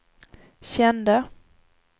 kände